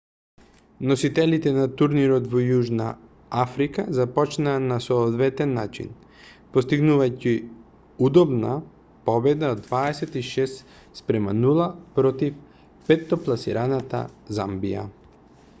носителите на турнирот во јужна африка започнаа на соодветен начин постигнувајќи удобна победа од 26 - 00 против петтопласираната замбија